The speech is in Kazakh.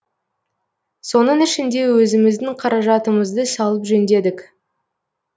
соның ішінде өзіміздің қаражатымызды салып жөндедік